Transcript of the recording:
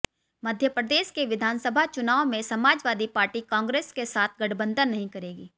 मध्यप्रदेश के विधानसभा चुनाव में समाजवादी पार्टी कांग्रेस के साथ गठबंधन नहीं करेगी